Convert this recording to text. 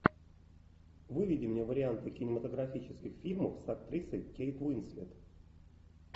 выведи мне варианты кинематографических фильмов с актрисой кейт уинслет